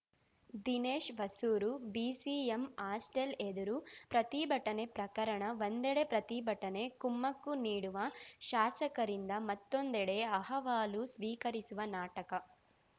Dinesh Hosur BCM hostel ಎದುರು ಪ್ರತಿಭಟನೆ ಪ್ರಕರಣ ಒಂದೆಡೆ ಪ್ರತಿಭಟನೆ ಕುಮ್ಮಕ್ಕು ನೀಡುವ ಶಾಸಕರಿಂದ ಮತ್ತೊಂದೆಡೆ ಅಹವಾಲು ಸ್ವೀಕರಿಸುವ ನಾಟಕ